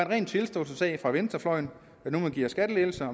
ren tilståelsessag for venstrefløjen at man nu giver skattelettelser